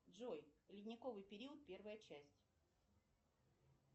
джой ледниковый период первая часть